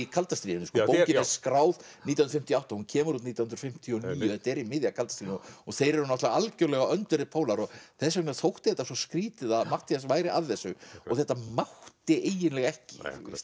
kalda stríðinu bókin er skráð nítján hundruð fimmtíu og átta hún kemur út nítján hundruð fimmtíu og níu þetta er í miðju kalda stríðinu þeir eru náttúrulega algjörlega öndverðir pólar og þess vegna þótti þetta svo skrýtið að Matthías væri að þessu þetta mátti eiginlega ekki